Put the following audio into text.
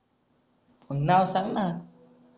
नाव सांगणं